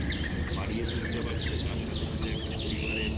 বাড়িয়ে তুলতে পারছে তার সাথে সাথে একটা পরিবারের